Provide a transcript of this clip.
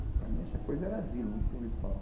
Para mim essa coisa era asilo, nunca tinha ouvido falar.